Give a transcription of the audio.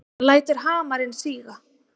Hann lætur hamarinn síga.